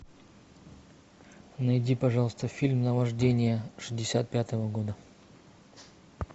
найди пожалуйста фильм наваждение шестьдесят пятого года